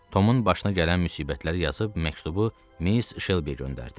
Tomun başına gələn müsibətləri yazıb məktubu Miss Şelbi göndərdi.